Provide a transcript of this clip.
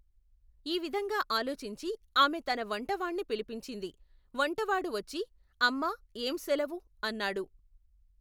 ఈ విధంగా ఆలోచించి ఆమె తన వంట వాణ్ణి పిలిపించింది, వంటవాడు వచ్చి, అమ్మా ఏం సెలవు? అన్నాడు.